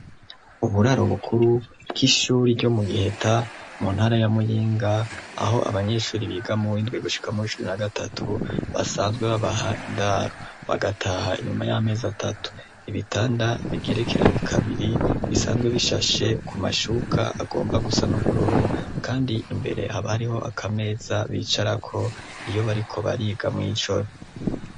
Uburaro bukuru bw'ishuri ryo mu Giheta mu ntara ya Muyinga aho abanyeshuri biga mu w'indwi gushika mu w'icumi na gatatu basanzwe babaha indaro, bagataha inyuma y'amezi atatu. Ibitanda bigerekeranye kabiri bisanzwe bishasheko amashuka agomba gusa n'ubururu kandi imbere habariho akameza bicarako iyo bariko bariga mw'ijoro.